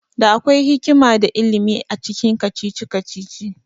Da akwai hikima da ilimi acikin kacici-kacici